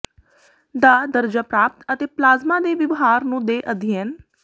ਦਾ ਦਰਜਾ ਪ੍ਰਾਪਤ ਅਤੇ ਪਲਾਜ਼ਮਾ ਦੇ ਵਿਵਹਾਰ ਨੂੰ ਦੇ ਅਧਿਐਨ